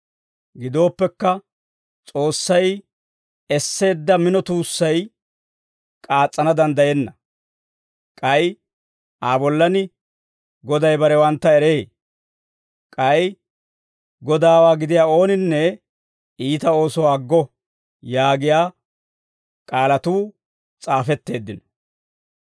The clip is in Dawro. Gidooppekka, S'oossay esseedda mino tuussay k'aas's'ana danddayenna. K'ay Aa bollan, «Goday barewantta eree»; k'ay «Godaawaa gidiyaa ooninne iita oosuwaa aggo» yaagiyaa K'aalatuu s'aafetteeddino.